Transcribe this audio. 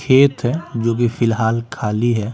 खेत हैजो कि फिलहाल खाली है।